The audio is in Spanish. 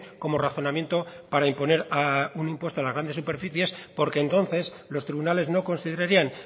como razonamiento para imponer un impuesto a las grandes superficies porque entonces los tribunales no considerarían